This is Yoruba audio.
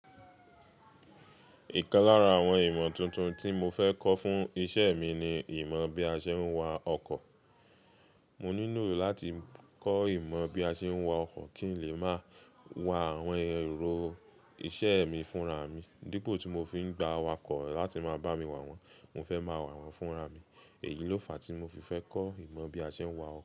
Ìkan lára àwọn ìmọ̀ tuntun tí mo fẹ́ kọ́ fún iṣẹ́ mi ni ìmọ̀ bí a ṣe ń wa ọkọ̀. Mo nílò láti kọ́ ìmọ̀ bí a ṣe ń wa ọkọ̀ kí n lè máa wa àwọn èrò iṣẹ́ mi fúnra mi. Dípo tí mo fi ń gba awakọ̀ láti máa bá mi wà wọ́n, mo fẹ́ máa wà wọ́n fúnra mi. Èyí ló fa tí mo fi fẹ́ kọ́ ìmọ̀ bí a ṣe ń wa ọkọ̀.